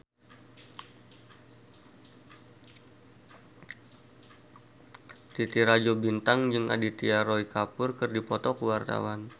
Titi Rajo Bintang jeung Aditya Roy Kapoor keur dipoto ku wartawan